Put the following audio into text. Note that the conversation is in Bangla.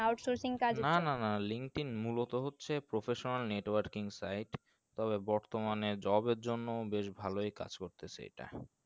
নানা না linkedin মূলত হচ্ছে professional networking site তবে বর্তমানে job এর জন্য বেশ ভালোই কাজ করতেসে এটা